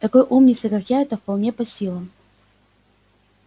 такой умнице как я это вполне по силам